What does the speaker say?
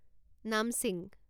নামছিং